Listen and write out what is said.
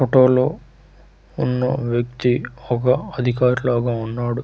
Photo లో ఉన్న వ్యక్తి ఒక అధికారి లాగ ఉన్నాడు .]